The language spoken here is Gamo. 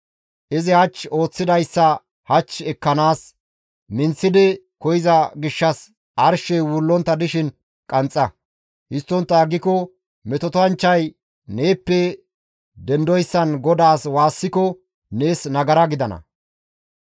Izi hach ooththidayssa hach ekkanaas minththi koyza gishshas arshey wullontta dishin qanxxa; histtontta aggiko metotanchchay neeppe dendoyssan GODAAS waassiko nees nagara gidana.